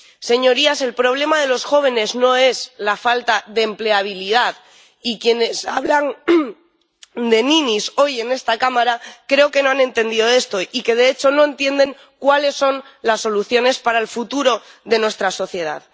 Señorías, el problema de los jóvenes no es la falta de empleabilidad, y quienes hablan de ninis hoy en esta Cámara creo que no han entendido esto y que, de hecho, no entienden cuáles son las soluciones para el futuro de nuestra sociedad.